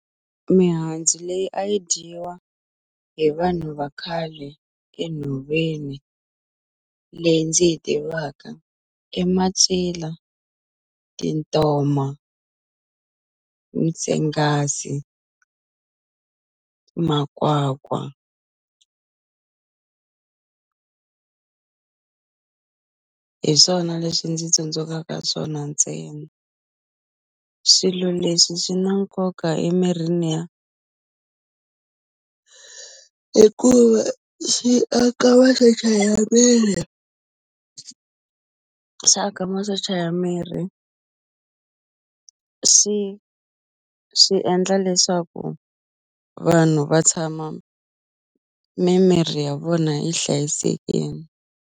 Mihandzu leyi a yi dyiwa hi vanhu va khale enhoveni leyi ndzi yi tivaka i macila, tintoma, mitsengasi makwakwa hi swona leswi ndzi tsundzuxaka swona ntsena swilo leswi swi na nkoka emirini ya hikuva xi aka masocha ya miri sa ka masocha ya miri swi swi endla leswaku vanhu va tshama mimiri ya vona yi hlayisekini.